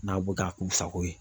N'a b'u k'a k'u sago ye.